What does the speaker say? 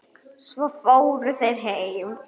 Svo fóru þeir heim.